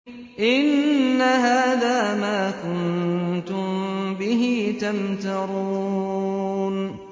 إِنَّ هَٰذَا مَا كُنتُم بِهِ تَمْتَرُونَ